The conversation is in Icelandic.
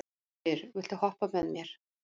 Guðfríður, viltu hoppa með mér?